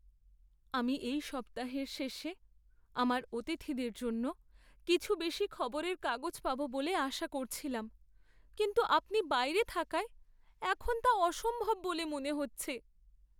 আমি এই সপ্তাহের শেষে আমার অতিথিদের জন্য কিছু বেশি খবরের কাগজ পাব বলে আশা করছিলাম, কিন্তু আপনি বাইরে থাকায় এখন তা অসম্ভব বলে মনে হচ্ছে।